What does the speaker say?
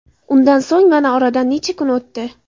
Undan so‘ng mana oradan necha kun o‘tdi.